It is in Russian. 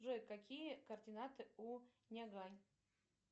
джой какие координаты у нягань